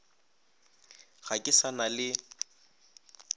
ga ke sa na le